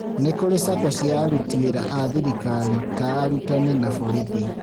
Nĩ kũrĩ SACCO cia aruti wĩra a thirikari ta arutani na borithi